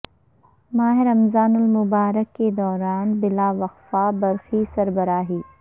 ماہ رمضان المبارک کے دوران بلا وقفہ برقی سربراہی